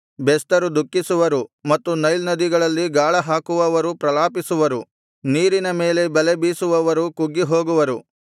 ಬೆಸ್ತರು ದುಃಖಿಸುವರು ಮತ್ತು ನೈಲ್ ನದಿಯಲ್ಲಿ ಗಾಳ ಹಾಕುವವರು ಪ್ರಲಾಪಿಸುವರು ನೀರಿನ ಮೇಲೆ ಬಲೆ ಬೀಸುವವರು ಕುಗ್ಗಿ ಹೋಗುವರು